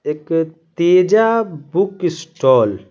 एक Teja book stall --